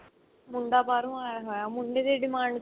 ਮੁੰਡਾ ਬਾਹਰੋ ਆਇਆ ਹੋਇਆ ਮੁੰਡੇ ਦੀ demand